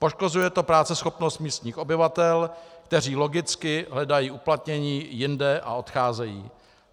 Poškozuje to práceschopnost místních obyvatel, kteří logicky hledají uplatnění jinde a odcházejí.